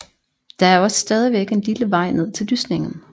Der er også stadigvæk en lille vej ned til lysningen